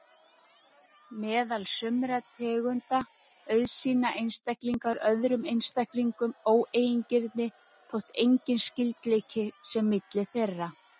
Meðal sumra tegunda auðsýna einstaklingar öðrum einstaklingum óeigingirni þótt enginn skyldleiki sé milli þeirra.